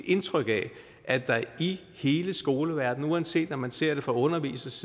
indtryk af at der i hele skoleverdenen uanset om ser det fra undervisernes